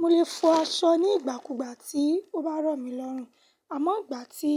Mo lè fọ aṣọ nígbàkúgbà tí ó bá rọ̀ mí lọ́rùn. Àmọ́ ìgbà tí